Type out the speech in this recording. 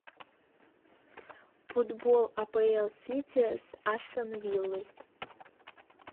футбол апл сити с астон виллой